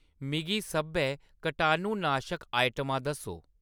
मिगी सब्भै कटाणुनाशक आइटमां दस्सो